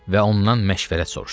və ondan məşvərət soruşsun.